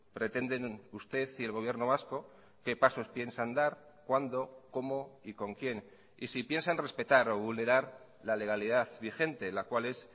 pretenden usted y el gobierno vasco qué pasos piensan dar cuándo cómo y con quién y si piensan respetar o vulnerar la legalidad vigente la cual es